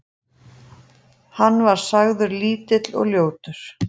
Hann var sagður lítill og ljótur.